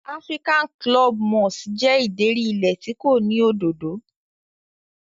African club moss jẹ́ ìdérí ilẹ̀ tí kò ní òdòdó.